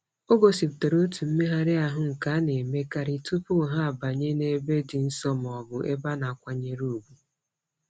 O gosipụtara otu mmegharị ahụ nke a na-emekarị tụpụ ha banye n'ebe dị nsọ mọọbụ ebe a na-akwanyere ùgwù.